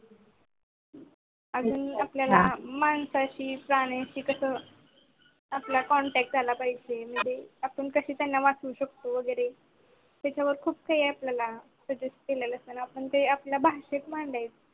अजून आपल्याला माणसाशी प्राण्याशी कास आपला contact झाला पाहिजे अजून कस त्यांना वाचवू शकतो वगेरे त्याच्यावर खूप काही आपल्याला suggest केलेलं असता ते आपण आपल्या भाषेत सांगायच.